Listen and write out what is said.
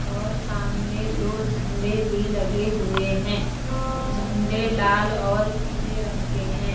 और सामने दो झंडे भी लगे हुए हैं झंडे लाल और पीले रंग के हैं।